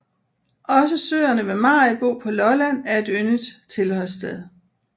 Også søerne ved Maribo på Lolland er et yndet tilholdssted